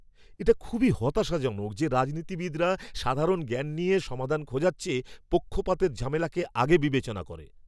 এটা খুবই হতাশাজনক যে রাজনীতিবিদরা সাধারণ জ্ঞান নিয়ে সমাধান খোঁজার চেয়ে পক্ষপাতের ঝামেলাকে আগে বিবেচনা করে।